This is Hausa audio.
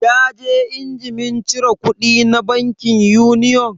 Ya je injimin cire kudi na bankin Union